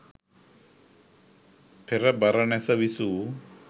පෙර බරණැස විසූ